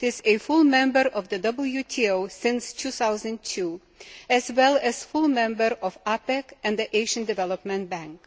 It has been a full member of the WTO since 2002 as well as a full member of APEC and the Asian Development Bank.